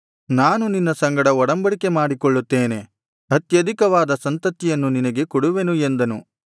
ನಾನು ನಿನ್ನ ಸಂಗಡ ಒಡಂಬಡಿಕೆ ಮಾಡಿಕೊಳ್ಳುತ್ತೇನೆ ಅತ್ಯಧಿಕವಾದ ಸಂತತಿಯನ್ನು ನಿನಗೆ ಕೊಡುವೆನು ಎಂದನು